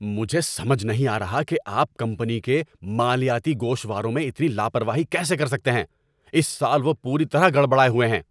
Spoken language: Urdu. مجھے سمجھ نہیں آ رہا کہ آپ کمپنی کے مالیاتی گوشواروں میں اتنی لاپروائی کیسے کر سکتے ہیں۔ اس سال وہ پوری طرح گڑبڑائے ہوئے ہیں۔